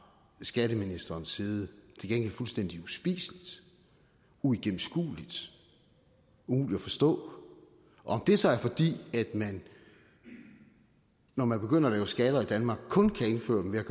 skatteministerens side til gengæld fuldstændig uspiseligt uigennemskueligt umuligt at forstå om det så er fordi man når man begynder at lave skatter i danmark kun kan indføre dem ved at